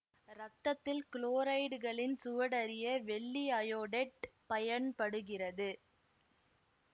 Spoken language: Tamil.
இரத்தத்தில் குளோரைடுகளின் சுவடறிய வெள்ளி அயோடேட்டு பயன்படுகிறது